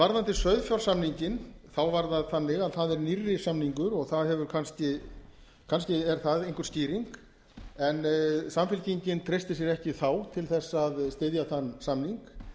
varðandi sauðfjársamninginn var það þannig að það er nýrri samningur og kannski er það einhver skýring en samfylkingin treysti sér ekki þá til þess að styðja þann samning